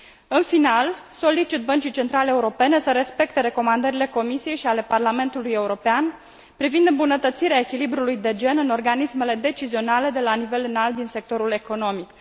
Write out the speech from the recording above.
În final, solicit Băncii Centrale Europene să respecte recomandările Comisiei și ale Parlamentului European privind îmbunătățirea echilibrului de gen în organismele decizionale de la nivel înalt din sectorul economic.